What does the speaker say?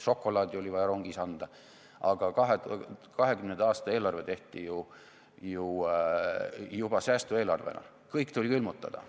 Šokolaadi oli vaja rongis anda, aga 2020. aasta eelarve tehti juba säästueelarvena, kõik tuli külmutada.